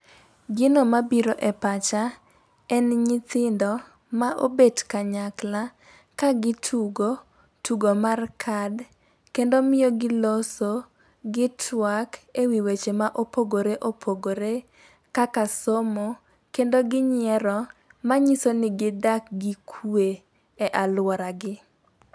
Gino mabiro e pacha en nyithindo ma obet kanyakla ka gitugo tugo mar kad. Kendo miyo giloso, gitwak e wi weche ma opogore opogore, kaka somo kendo ginyiero. Manyiso ni gidak gi kwe e aluoragi .